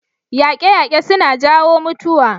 Yaƙe-yaƙe suna jawo mutuwa.